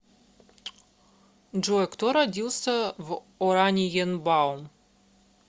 джой кто родился в ораниенбаум